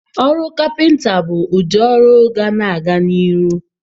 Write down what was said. Ọrụ kapịnta bụ ụdị ọrụ ga-ana aga n'ihu.